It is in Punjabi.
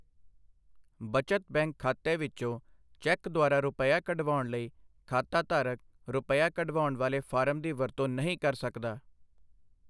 ਬਚਤ ਬੈਂਕ ਖਾਤੇ ਵਿੱਚੋਂ ਚੈੱਕ ਦੁਆਰਾ ਰੁਪੱਈਆ ਕਢਵਾਉਣ ਲਈ ਖਾਤਾਧਾਰਕ ਰੁਪੱਈਆ ਕਢਵਾਉਣ ਵਾਲੇ ਫਾਰਮ ਦੀ ਵਰਤੋਂ ਨਹੀਂ ਕਰ ਸਕਦਾ।